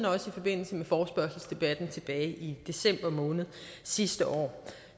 og i forbindelse med forespørgselsdebatten tilbage i december måned sidste år